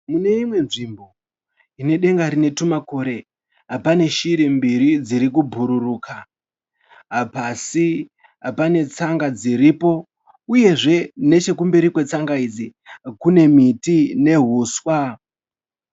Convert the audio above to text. Muneimwe nzvimbo, inedenga rinetumakore, pane shiri mbiri dzirikubhururuka. Pasi panetsanga dziripo uyezve nechekumberi kwetsanga idzi kune miti nehuswa.